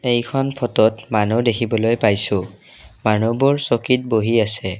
এইখন ফটোত মানুহ দেখিবলৈ পাইছোঁ মানুহবোৰ চকীত বহি আছে।